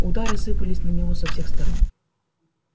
удары сыпались на него со всех сторон